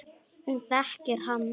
Hún þekkir hann.